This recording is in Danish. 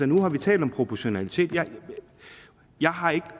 nu har vi talt om proportionalitet jeg har ikke